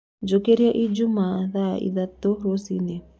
Njũkĩrĩaĩjũmaa thaaĩthatũ rũcĩĩni